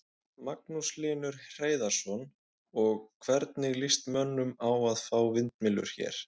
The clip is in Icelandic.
Magnús Hlynur Hreiðarsson: Og, hvernig lýst mönnum á að fá vindmyllur hér?